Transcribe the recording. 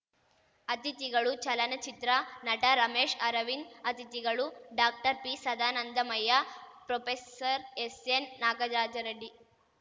ಅತಿಥಿಗಳು ಚಲನಚಿತ್ರ ನಟ ರಮೇಶ್‌ ಅರವಿಂದ್‌ ಅತಿಥಿಗಳು ಡಾಕ್ಟರ್ಪಿಸದಾನಂದ ಮಯ್ಯ ಪ್ರೊಪೆಸರ್ಎಸ್‌ಎನ್‌ನಾಗಜಾಜರೆಡ್ಡಿ